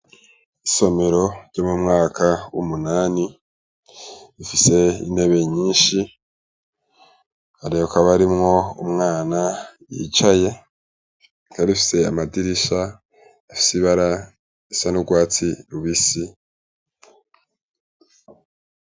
Isomero ryo mu mwaka w'umunani rifise intebe nyinshi, ariko hakaba harimwo umwana yicaye, rikaba rifise amadirisha afise ibara risa n'urwatsi rubisi.